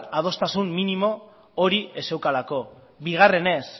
adostasun minimo hori ez zeukalako bigarrenez